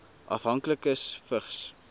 afhanklikes vigs